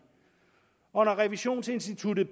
og når revisionsinstituttet